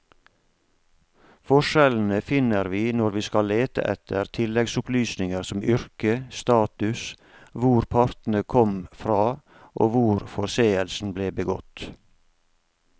Forskjellene finner vi når vi skal lete etter tilleggsopplysninger som yrke, status, hvor partene kom fra og hvor forseelsen ble begått.